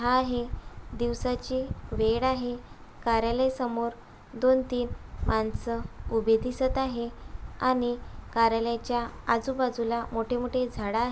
आहे दिवसाची वेळ आहे कार्यालया समोर दोन तीन मानस उभी दिसत आहे आणि कार्यालयाच्या आजूबाजूला मोठे-मोठे झाड आ--